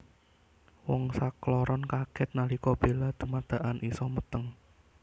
Wong sakloron kaget nalika Bella dumadakan isa meteng